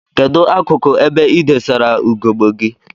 Kedu akuku ebe idosara ugegbe gi?